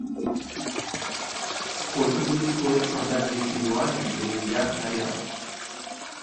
сколько будет стоить продать двести юаней переведя на реал